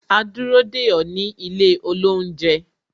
A dúró dè ó ní ilé olounje